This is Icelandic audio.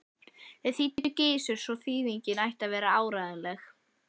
Þau þýddi Gizur svo þýðingin ætti að vera áreiðanleg.